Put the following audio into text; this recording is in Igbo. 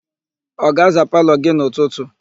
Ọ ga-aza palọ gị n'ụtụtụ?